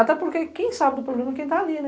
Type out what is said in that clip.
Até porque quem sabe do problema é quem está ali, né?